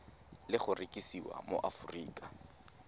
le go rekisiwa mo aforika